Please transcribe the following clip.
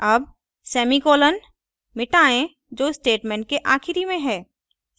अब semicolon मिटाएँ जो statement के आखिरी में है